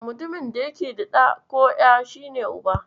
Mutumin da yake da ɗa ko ƴa, shi ne Uba.